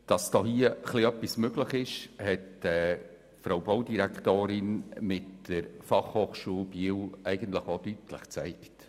Dass hier etwas möglich ist, hat die Frau Baudirektorin mit der Fachhochschule in Biel denn auch deutlich gezeigt.